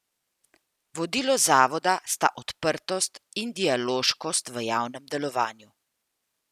Vodilo zavoda sta odprtost in dialoškost v javnem delovanju.